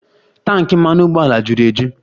Tanki mmanụ ụgbọala juru eju